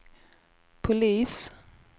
polis